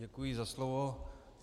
Děkuji za slovo.